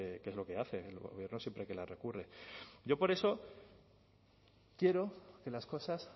que es lo que hace el gobierno siempre que la recurre yo por eso quiero que las cosas